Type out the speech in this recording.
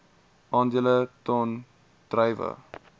aandele ton druiwe